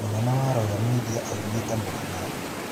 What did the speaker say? Munene wa Royal Media aumĩte Murang'a